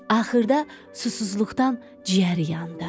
Axırda susuzluqdan ciyəri yandı.